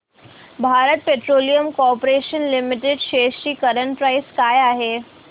Bharat petroleum corporation limited shares ची current price काय आहे